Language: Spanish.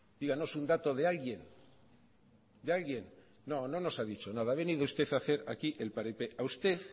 díganos un dato de alguien de alguien no no has dicho nada ha venido usted a hacer aquí el paripé a usted